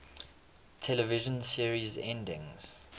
television series endings